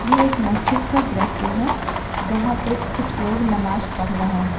एक मस्जिद का दृश्य है जहां पे कुछ लोग नमाज पढ़ रहे हैं।